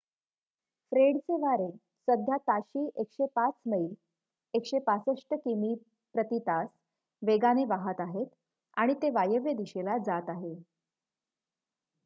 फ्रेडचे वारे सध्या ताशी 105 मैल 165 किमी/तास वेगाने वाहात आहेत आणि ते वायव्य दिशेला जात आहे